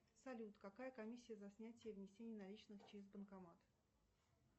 салют какая комиссия за снятие и внесение наличных через банкомат